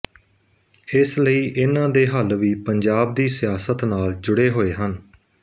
ਇਸ ਲਈ ਇਨ੍ਹਾਂ ਦੇ ਹੱਲ ਵੀ ਪੰਜਾਬ ਦੀ ਸਿਆਸਤ ਨਾਲ ਜੁੜੇ ਹੋਏ ਹਨ